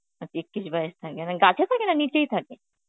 আ Hindi বাইশ থাকে, না গাছে থাকে না নিচেই থাকে?